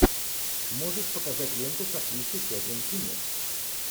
можешь показать ленту с актрисой кэтрин кинер